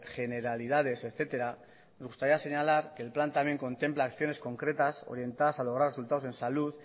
generalidades etcétera me gustaría señalar que el plan también contempla acciones concretas orientadas a lograr resultados en salud